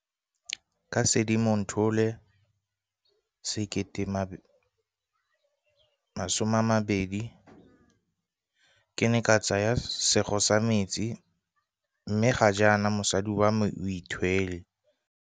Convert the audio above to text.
Ka Sedimonthole 2020 ke ne ka tsaya sego sa metsi mme ga jaana mosadi wa me o ithwele.